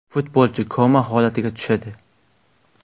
Futbolchi koma holatiga tushadi.